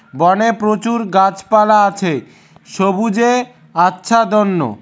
বনে প্রচুর গাছপালা আছে সবুজে আচ্ছাদন্য ।